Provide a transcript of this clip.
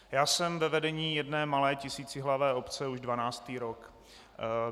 Já jsem ve vedení jedné malé tisícihlavé obce už dvanáctý rok.